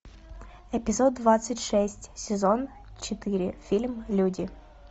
эпизод двадцать шесть сезон четыре фильм люди